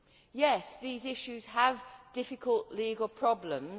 Yes, these issues have difficult legal problems.